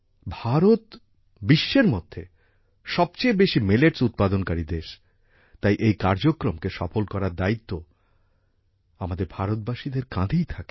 ভারত বিশ্বের মধ্যে সবচেয়ে বেশি মিলেটস উৎপাদনকারী দেশ তাই এই কার্যক্রমকে সফল করার দায়িত্ব আমাদের ভারতবাসীদের কাঁধেই থাকে